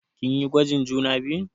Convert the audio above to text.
Kin yi gwajin juna biyun?